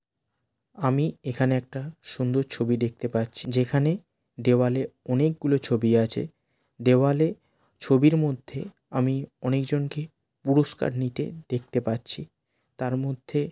আমি এখানে একটা সুন্দর ছবি দেখতে পাচ্ছি। যেখানে দেওয়ালে অনেকগুলো ছবি আছে দেওয়ালে ছবির মধ্যে আমি অনেক জনকে পুরস্কার নিতে দেখতে পাচ্ছি। তার মধ্যে--